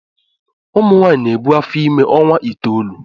Ụmụnwaanyị na-ebu afọ ime ọnwa itoolu